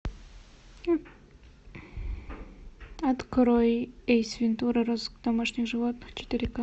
открой эйс вентура розыск домашних животных четыре ка